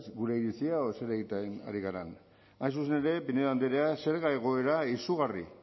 gure iritzia edo zer egiten ari garen hain zuzen ere pinedo andrea zerga egoera izugarri